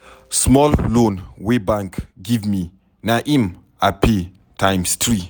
Small loan wey bank give me na im I pay times three.